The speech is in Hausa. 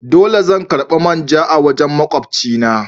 Dole in karba main ja daga wajen makwabci na.